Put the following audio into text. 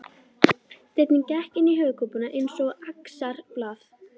Steinninn gekk inn í höfuðkúpuna eins og axarblað.